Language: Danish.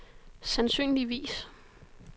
sandsynligvis